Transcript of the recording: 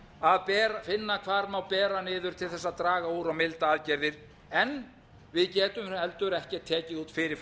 að finna hvar má bera niður til þess að draga úr og milda aðgerðir en við getum heldur ekki tekið út fyrir